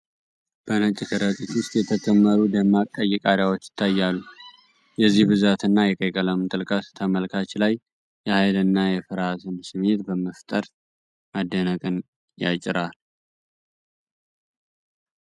በነጭ ከረጢት ውስጥ የተከመሩ ደማቅ ቀይ ቃሪያዎች ይታያሉ። የዚህ ብዛትና የቀይ ቀለም ጥልቀት፣ ተመልካች ላይ የኃይልና የፍራሃትን ስሜት በመፍጠር መደነቅን ያጭራል።